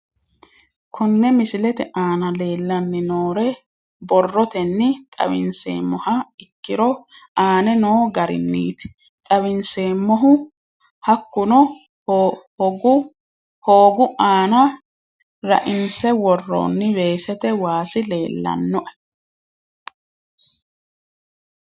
Kone misilete aana leelanni nooro borrotenni xawisemoha ikiiro aane noo garinniti xawiseemohu hakunno hoogu aana raainse woroonni weesete waasi leelanoe